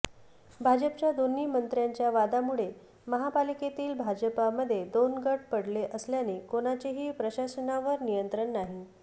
भाजपच्या दोन्ही मंत्र्यांच्या वादामुळे महापालिकेतील भाजपामध्ये दोन गट पडले असल्याने कोणाचेही प्रशासनावर नियंत्रण नाही